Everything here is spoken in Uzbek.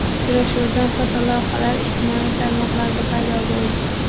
Uchrashuvdan fotolavhalar ijtimoiy tarmoqlarda paydo bo‘ldi.